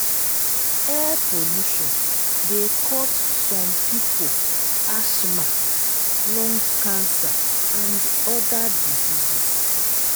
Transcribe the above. air polution de cause some pipo ashma lung cancer and other diseases